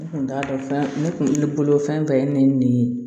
N kun t'a dɔn fɛn ne kun bolo fɛn bɛɛ ye ne ye